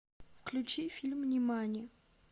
включи фильм нимани